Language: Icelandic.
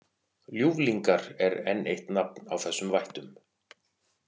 Ljúflingar er enn eitt nafn á þessum vættum.